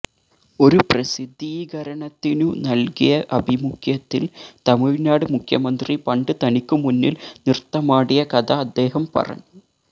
ഒരു പ്രസിദ്ധീകരണത്തിനു നൽകിയ അഭിമുഖ്യത്തിൽ തമിഴ്നാട് മുഖ്യമന്ത്രി പണ്ട് തനിക്കുമുന്നിൽ നൃത്തമാടിയ കഥ അദ്ദേഹം പറഞ്ഞു